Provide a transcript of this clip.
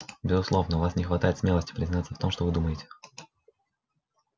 безусловно у вас не хватает смелости признаться в том что вы думаете